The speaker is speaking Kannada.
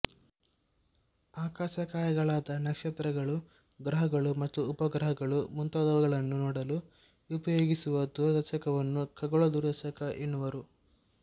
ಆಕಾಶಕಾಯಗಳಾದ ನಕ್ಷತ್ರಗಳು ಗ್ರಹಗಳು ಮತ್ತು ಉಪಗ್ರಹಗಳು ಮುಂತಾದವುಗಳನ್ನು ನೋಡಲು ಉಪಯೋಗಿಸುವ ದೂರದರ್ಶಕವನ್ನು ಖಗೋಳ ದೂರದರ್ಶಕ ಎನ್ನುವರು